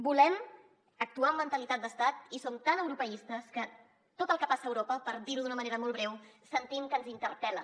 volem actuar amb mentalitat d’estat i som tan europeistes que tot el que passa a europa per dir ho d’una manera molt breu sentim que ens interpel·la